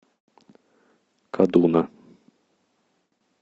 кадуна